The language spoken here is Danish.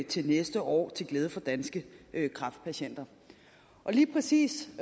til næste år til glæde for danske kræftpatienter og lige præcis